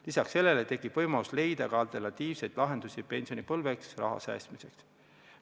Lisaks tekib võimalus leida alternatiivseid lahendusi pensionipõlveks raha säästmiseks.